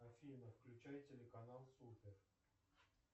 афина включай телеканал супер